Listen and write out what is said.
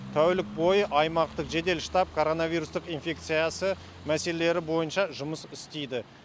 тәулік бойы аймақтық жедел штат коронавирустық инфекциясы мәселелері бойынша жұмыс істейді